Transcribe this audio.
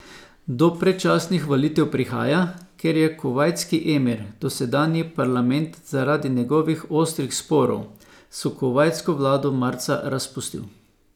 Do predčasnih volitev prihaja, ker je kuvajtski emir dosedanji parlament zaradi njegovih ostrih sporov s kuvajtsko vlado marca razpustil.